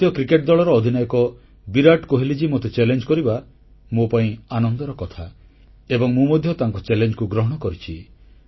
ଭାରତୀୟ କ୍ରିକେଟ ଦଳର ଅଧିନାୟକ ବିରାଟ କୋହଲି ମୋତେ ଚାଲେଞ୍ଜ କରିବା ମୋ ପାଇଁ ଆନନ୍ଦର କଥା ଏବଂ ମୁଁ ମଧ୍ୟ ତାଙ୍କ ଚାଲେଞ୍ଜକୁ ଗ୍ରହଣ କରିଛି